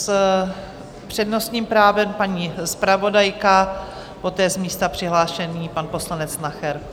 S přednostním právem paní zpravodajka, poté z místa přihlášený pan poslanec Nacher.